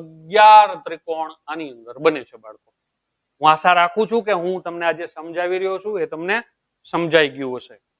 અગ્યાર ત્રિકોણ આની અંદર બને છે. બાળકો હું આશા રાખું છું કે હું તમને આજે સમજાવી રહ્યો છું એ તમને સમજાઈ ગયું હશે